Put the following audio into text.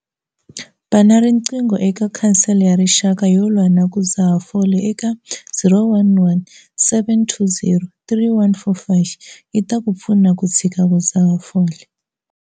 Bana riqingho eka Khansele ya Rixaka yo Lwa na ku Dzaha Fole eka- 011 720 3145 yi ta ku pfuna ku tshika ku dzaha fole.